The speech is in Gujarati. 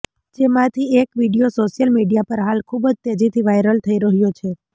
જેમાંથી એક વીડિયો સોશ્યલ મીડિયા પર હાલ ખૂબ જ તેજીથી વાયરલ થઇ રહ્યો છે